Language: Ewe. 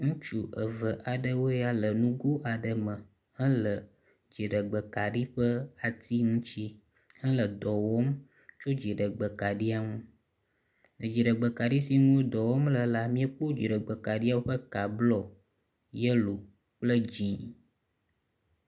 Ŋutsu eve aɖewoe nye ya le nugui aɖe me hele dziɖegbe kaɖi ƒe ati ŋuti hele dɔ wɔm tso dziɖegbe kaɖia ŋu. Edziɖegbe kaɖi si ŋuti wo dɔ wɔm le la miekpɔ dziɖegbe kaɖiawo ƒe ka blɔ, yelo kple dzi.